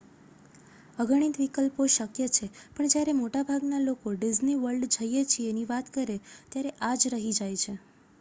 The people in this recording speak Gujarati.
"અગણિત વિકલ્પો શક્ય છે પણ જ્યારે મોટાભાગના લોકો "ડિઝ્ની વર્લ્ડ જઈએ છીએ""ની વાત કરે ત્યારે આ જ રહી જાય છે.